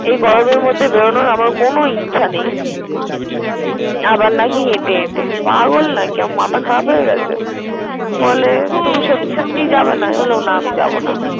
এই গরমের মধ্যে বেড়োনোর আমার কোন ইচ্ছা নেই। আবার নাকি হেটে হেটে পাগল নাকি? মাথা খারাপ হয়ে গেছে বলে তুমি সত্যি সত্যি যাবে না? আমি বললাম না আমি যাবো না।